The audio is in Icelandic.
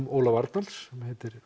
Ólaf Arnalds sem heitir